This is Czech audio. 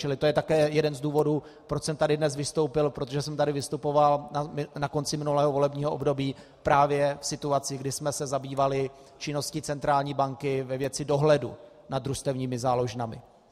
Čili to je také jeden z důvodů, proč jsem tady dnes vystoupil - protože jsem tady vystupoval na konci minulého volebního období právě v situaci, kdy jsme se zabývali činností centrální banky ve věci dohledu nad družstevními záložnami.